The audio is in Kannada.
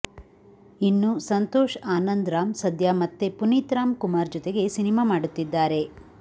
ಇನ್ನೂ ಸಂತೋಷ್ ಆನಂದ್ ರಾಮ್ ಸದ್ಯ ಮತ್ತೆ ಪುನೀತ್ ರಾಮ್ ಕುಮಾರ್ ಜೊತೆಗೆ ಸಿನಿಮಾ ಮಾಡುತ್ತಿದ್ದಾರೆ